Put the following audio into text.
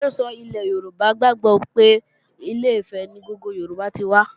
Àrọ́sọ ilẹ̀ Yorùbá gbàgbó pé Ilé-Ifẹ̀ ni gbogbo ènìyàn tí wá